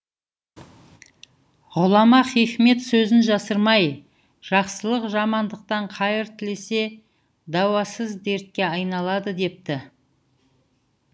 ғұлама хикмет сөзін жасырмай жақсылық жамандықтан қайыр тілесе дауасыз дертке айналады депті